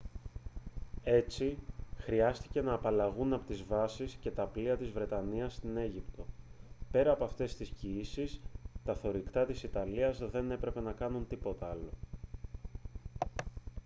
έτσι χρειάστηκε να απαλλαγούν από τις βάσεις και τα πλοία της βρετανίας στην αίγυπτο πέρα από αυτές τις κιήσεις τα θωρηκτά της ιταλίας δεν έπρεπε να κάνουν τίποτα άλλο